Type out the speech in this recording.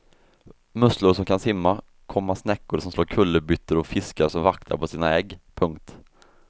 Musslor som kan simma, komma snäckor som slår kullerbyttor och fiskar som vaktar på sina ägg. punkt